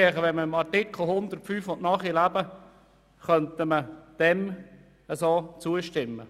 Wenn man Artikel 105 nachleben will, könnte man dem meines Erachtens zustimmen.